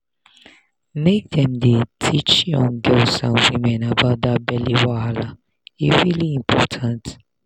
make dem dey teach young girls and women about that belly wahala e really important